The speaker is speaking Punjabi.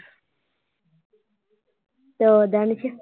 ਆਉਂਦਾ ਨੀ ਫ਼ਿਰ।